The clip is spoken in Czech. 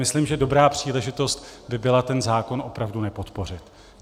Myslím, že dobrá příležitost by byla ten zákon opravdu nepodpořit.